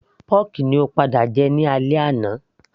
pọ́kì ni ó padà jẹ ní alẹ́ àná